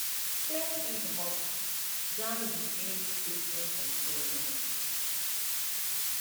clear seed hopper jam reduce spacing control knob